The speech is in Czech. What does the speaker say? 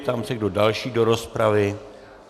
Ptám se, kdo další do rozpravy.